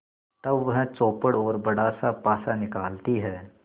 तब वह चौपड़ और बड़ासा पासा निकालती है